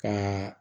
Ka